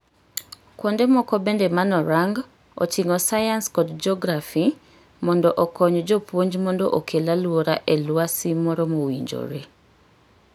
Kuonde moko bende manorang oting'o sayans kod jografi mondo okony jopuonj mondo okel aluora eluasi moro mowinjore.